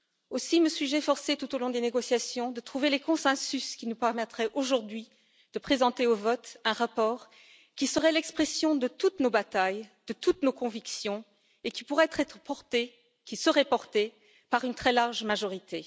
Aussi, me suis je efforcée tout au long des négociations de trouver les consensus qui nous permettraient aujourd'hui de présenter au vote un rapport qui serait l'expression de toutes nos batailles, de toutes nos convictions et qui serait porté par une très large majorité.